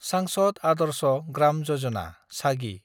सांसद आदर्श ग्राम यजना (सागि)